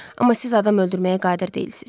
Amma siz adam öldürməyə qadir deyilsiz.